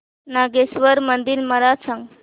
नागेश्वर मंदिर मला सांग